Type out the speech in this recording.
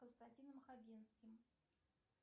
константином хагинским